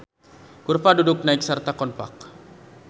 Kurva kudu naek sarta konkav.